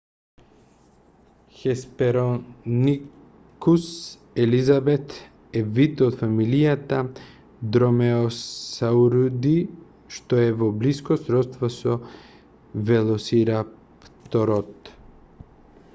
hesperonychus elizabethae е вид од фамилијата dromaeosauridae што е во блиско сродство со велосирапторот